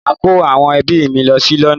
Mo máa kó àwọn ẹbí mi lọ sí London.